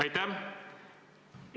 Aitäh!